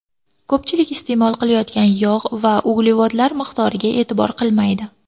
Ko‘pchilik iste’mol qilayotgan yog‘ va uglevodlar miqdoriga e’tibor qilmaydi.